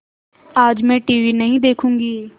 आज मैं टीवी नहीं देखूँगी